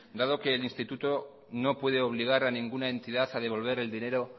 dado que el instituto no puede obligar a ninguna entidad a devolver el dinero